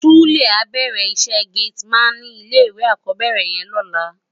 Sule á bèrè iṣè géti man ni ilé iwé ákòbèrè yèn lòlá